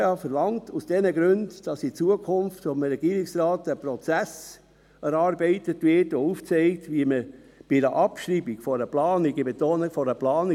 Die GPK verlangt aus diesen Gründen, dass vom Regierungsrat in Zukunft ein Prozess erarbeitet wird, der aufzeigt, wie man bei einer Abschreibung einer Planung – ich betone: einer ;